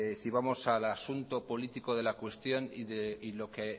si vamos al asunto político de la cuestión y lo que